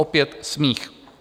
Opět smích.